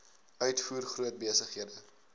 uitvoer groot besighede